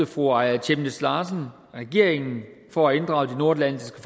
fru aaja chemnitz larsen regeringen for at inddrage de nordatlantiske